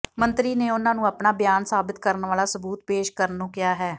ਮੰਤਰੀ ਨੇ ਉਨ੍ਹਾਂ ਨੂੰ ਆਪਣਾ ਬਿਆਨ ਸਾਬਿਤ ਕਰਨ ਵਾਲਾ ਸਬੂਤ ਪੇਸ਼ ਕਰਨ ਨੂੰ ਕਿਹਾ ਹੈ